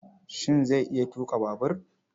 Shin zai iya tuƙa babur?